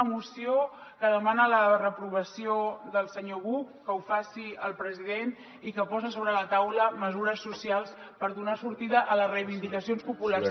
una moció que demana la reprovació del senyor buch que ho faci el president i que posa sobre la taula mesures socials per donar sortida a les reivindicacions populars